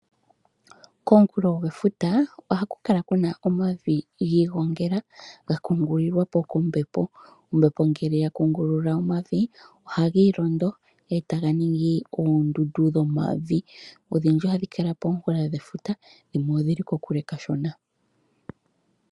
Komunkulo gwefuta ohaku kala kuna omavi giigongela ga kungililwapo kombepo. Ombepo ngele ya kungulula omavi ohagiilondo etaga ningi oondundu dhomavi odhindji ohadhi kala komunkulo gwefuta dhimwe odhili kokule kashona.